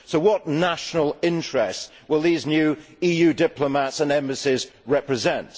So what national interests will these new EU diplomats and embassies represent?